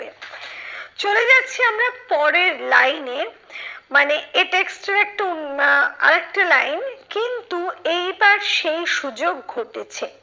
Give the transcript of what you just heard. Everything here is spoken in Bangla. চলে যাচ্ছি আমরা পরের line এ মানে এ text এর একটা উন আহ আরেকটা line কিন্তু এইবার সেই সুযোগ ঘটেছে।